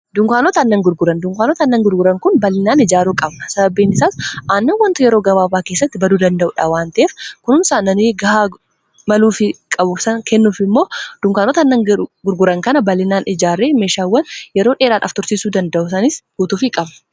Dunkaanota aannan gurguran dunkaanota annan gurguran kun bal'inaan ijaaruu qabna sababbiin isaas annan wanto yeroo gabaabaa keessatti baduu danda'uudha waanteef kunuun saannanii gahaa maluufi qabusan kennuuf immoo dunkaanota aannan gurguran kana bal'inaan ijaarree meeshaawwan yeroo dheeraadhaaf tursiisuu danda'u guutuufi qabna.